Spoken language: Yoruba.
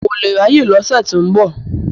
N kò lè ráyè lọ́sẹ̀ tó ń bọ̀.